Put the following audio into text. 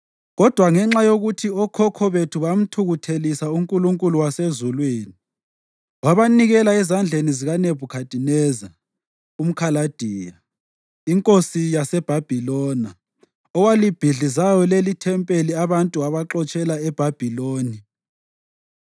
Kodwa ngenxa yokuthi okhokho bethu bamthukuthelisa uNkulunkulu wasezulwini, wabanikela ezandleni zikaNebhukhadineza umKhaladiya, inkosi yaseBhabhiloni owalibhidlizayo lelithempeli abantu wabaxotshela eBhabhiloni.